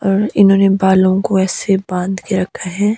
इन्होंने बालों को ऐसे बांध के रखा है।